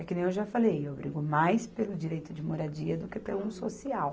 É que nem eu já falei, eu brigo mais pelo direito de moradia do que pelo social.